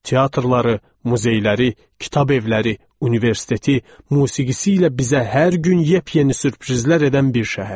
Teatrları, muzeyləri, kitabevləri, universiteti, musiqisi ilə bizə hər gün yepyeni sürprizlər edən bir şəhər.